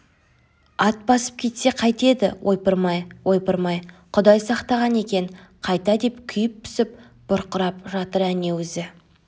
ат басып кетсе қайтеді ойпырмай ойпырмай құдай сақтаған екен қайта деп күйіп-пісіп бұрқырап жатыр әне өзі